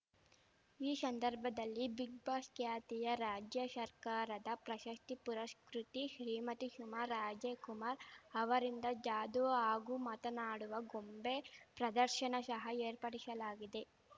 ಈ ಶಂದರ್ಭದಲ್ಲಿ ಬಿಗ್‌ಬಾಸ್ ಖ್ಯಾತಿಯ ರಾಜ್ಯ ಶರ್ಕಾರದ ಪ್ರಶಶ್ತಿ ಪುರಶ್ಕ್ರುತಿ ಶ್ರೀಮತಿ ಶುಮಾ ರಾಜೆಕುಮಾರ್ ಅವರಿಂದ ಜಾದು ಹಾಗೂ ಮಾತನಾಡುವ ಗೊಂಬೆ ಪ್ರದರ್ಶನ ಶಹ ಏರ್ಪಡಿಶಲಾಗಿದೆ